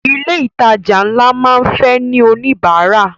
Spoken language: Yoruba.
Ilé ìtajà ńlá máa ń fẹ́ ní oníbárà.